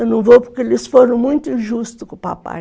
Eu não vou porque eles foram muito injustos com o papai.